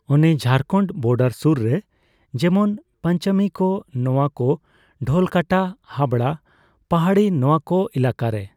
ᱚᱱᱮ ᱡᱷᱟᱲᱠᱷᱚᱱᱰ ᱵᱳᱰᱟᱨ ᱥᱩᱨ ᱨᱮ ᱾ᱡᱮᱢᱚᱱ ᱯᱟᱸᱪᱟᱢᱤ ᱠᱚ, ᱱᱚᱣᱟ ᱠᱚ ᱰᱷᱚᱞᱠᱟᱴᱟ, ᱦᱟᱵᱲᱟ ᱯᱟᱦᱟᱲᱤ ᱱᱚᱣᱟ ᱠᱚ ᱮᱞᱟᱠᱟᱨᱮ ᱾